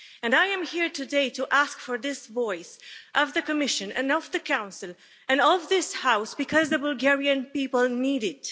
I am here today to ask for this voice of the Commission and of the Council, and of this House, because the Bulgarian people need it.